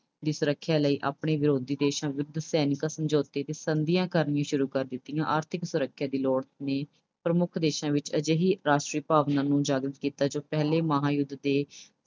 ਦੀ ਸੁਰੱਖਿਆ ਲਈ ਆਪਣੇ ਵਿਰੋਧੀ ਦੇਸ਼ਾਂ ਵਿਰੁੱਧ ਸੈਨਿਕ ਸਮਝੌਤੇ ਅਤੇ ਸੰਧੀਆਂ ਕਰਨੀਆਂ ਸ਼ੁਰੂ ਕਰ ਦਿੱਤੀਆਂ। ਆਰਥਿਕ ਸੁਰੱਖਿਆ ਦੀ ਲੋੜ ਨੇ ਪ੍ਰਮੁੱਖ ਦੇਸ਼ਾਂ ਵਿੱਚ ਅਜਿਹੀ ਰਾਸ਼ਟਰੀ ਭਾਵਨਾ ਨੂੰ ਉਜਾਗਰ ਕੀਤਾ ਜੋ ਪਹਿਲੇ ਮਹਾਂਯੁੱਧ ਦੇ